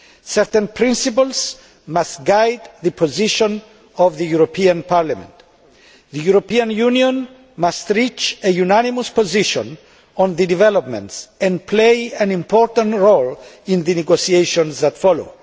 Certain principles must guide the position of Parliament the European Union must reach a unanimous position on the developments and play an important role in the negotiations that follow